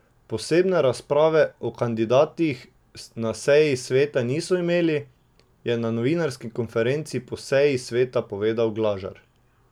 Posebne razprave o kandidatih na seji sveta niso imeli, je na novinarski konferenci po seji sveta povedal Glažar.